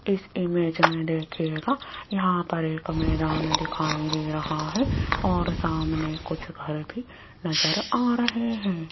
इस इमेज में देखिएगा यहां पर एक मैदान दिखाई दे रहा है और सामने कुछ घर भी नजर आ रहे हैं।